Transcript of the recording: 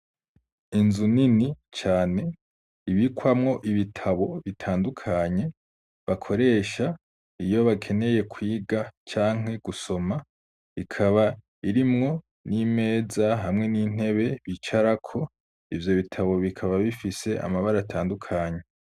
Inzu nini cane, ibikwamwo ibitabo bitandukanye, bakoresha iyo bakeneye kwiga canke gusoma, ikaba irimwo n'imeza hamwe n'intebe bicarako, ivyo bitabo bikaba bifise amabara atandukanye.